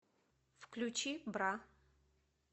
включи бра